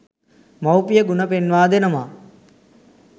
මවුපිය ගුණ පෙන්වා දෙනවා.